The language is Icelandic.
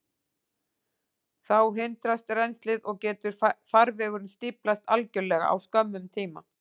Þá hindrast rennslið, og getur farvegurinn stíflast algjörlega á skömmum tíma.